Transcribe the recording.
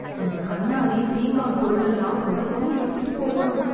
இந்தக் கண்ணாடி, பீங்கான் பொருளெல்லாம் உடையாம எடுத்திட்டுப் போகணும்!